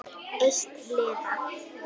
Eitt liða.